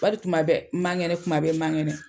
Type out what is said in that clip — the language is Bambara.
Badi tuma bɛ n man kɛnɛ tuma bɛ n man kɛnɛ.